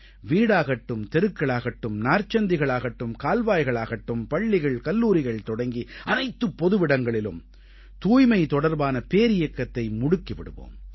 வீடாகட்டும் தெருக்களாகட்டும் நாற்சந்திகள் ஆகட்டும் கால்வாய்கள் ஆகட்டும் பள்ளிகள்கல்லூரிகள் தொடங்கி அனைத்துப் பொதுவிடங்களிலும் தூய்மை தொடர்பான பேரியக்கத்தை முடுக்கி விடுவோம்